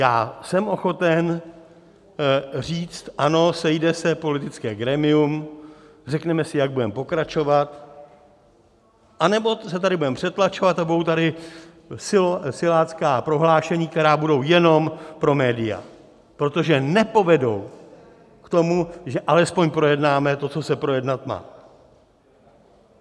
Já jsem ochoten říct: Ano, sejde se politické grémium, řekneme si, jak budeme pokračovat, anebo se tady budeme přetlačovat a budou tady silácká prohlášení, která budou jenom pro média, protože nepovedou k tomu, že alespoň projednáme to, co se projednat má.